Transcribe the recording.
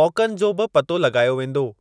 मौक़नि जो बि पतो लॻायो वेंदो।